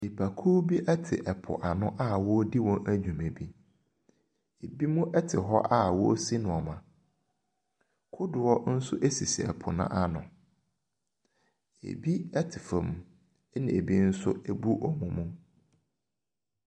Nipakuo bi te ɛpo ano a wɔredi wɔn dwuma bi. Ɛbinom te hɔ a wɔresi nneɛma. Kodoɔ nso sisi ɛpo no ano. Ɛbi te fam. Ɛna ɛbi nso abu wɔn mu.